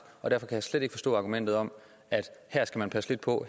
og derfor jeg slet ikke forstå argumentet om at her skal man passe lidt på